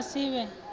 a si vhuye e kope